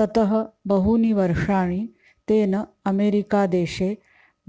ततः बहूनि वर्षाणि तेन अमेरिकादेशे